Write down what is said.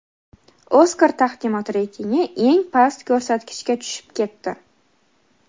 "Oskar" taqdimoti reytingi eng past ko‘rsatkichga tushib ketdi.